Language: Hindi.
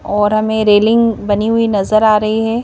और हमें रेलिंग बनी हुई नजर आ रही है.